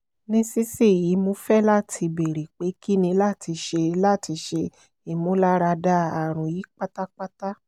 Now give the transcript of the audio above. nisisiyi mo fẹ lati beere pe kini lati ṣe lati ṣe imularada arun yii patapata